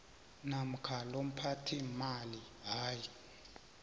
namkha lomphathiimali hayi